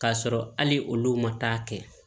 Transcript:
K'a sɔrɔ hali olu ma taa kɛ